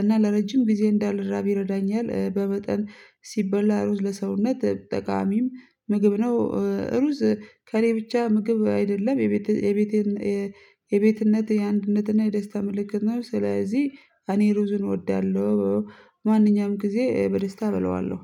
እና ለረጅም ጊዜ እንዳልራብ ይረዳኛል። በመጠን ሲበላ ሩዝ ለሰውነት ጠቃሚም ምግብ ነው። ሩዝ ከእኔ ብቻ ምግብ አይደለም የቤቴን የቤትነት የአንድነትና የደስታ ምልክት ነው። ስለዚህ እኔ ሩዝን እወዳለሁ። ማንኛውም ጊዜ በደስታ እበላዋለሁ።